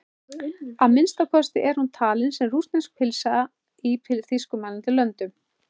Að minnsta kosti er hún talin sem rússnesk pylsa í þýskumælandi löndum.